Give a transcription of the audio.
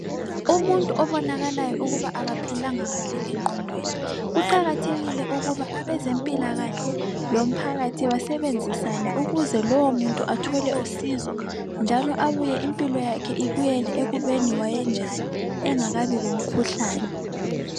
Umuntu obonakalayo ukuba akaphilanga kahle engqondweni. Kuqakathekile ukuba abezempilakahle lomphakathi basebenzisane ukuze lowo muntu athole usizo njalo abuye impilo yakhe ibuyele ekubeni wayenjani engakabi lomkhuhlane.